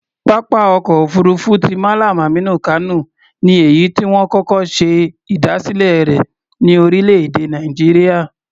Pápá ọkọ̀ òfuurufú ti Mallam Aminu Kano ni èyí tí wọ́n kọ́kọ́ ṣe ìdásílẹ̀ rẹ̀ ní orílẹ̀-èdè Nàìjíríà.